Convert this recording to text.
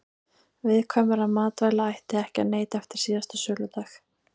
Viðkvæmra matvæla ætti ekki að neyta eftir síðasta söludag.